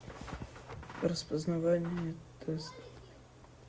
распознавание тест